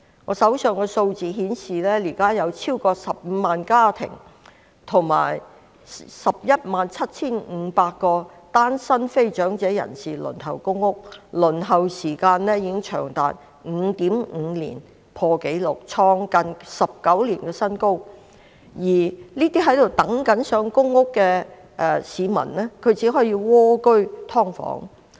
我手邊的數字顯示，現時有超過15萬個家庭和 117,500 名單身非長者人士正在輪候公屋，輪候時間長達 5.5 年，創近19年新高，而這些正在輪候公屋的市民只可以蝸居"劏房"。